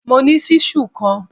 Mo ní ṣíṣù kan